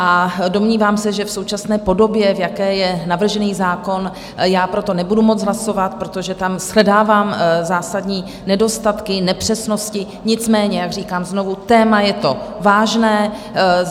A domnívám se, že v současné podobě, v jaké je navržený zákon, pro to nebudu moct hlasovat, protože tam shledávám zásadní nedostatky, nepřesnosti, nicméně jak říkám znovu, téma je to vážné.